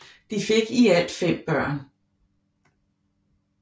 De fik i alt 5 børn